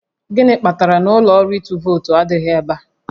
Gịnị kpatara na ụlọ ọrụ ịtụ vootu adịghị ebe a?